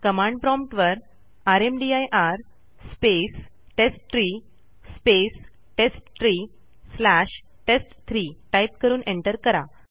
command prompt वर rmdir space test tree space test tree slash टेस्ट3 type करून एंटर करा